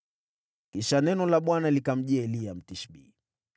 Kisha neno la Bwana likamjia Eliya, Mtishbi: